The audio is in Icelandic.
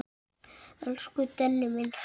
Elsku Denni minn.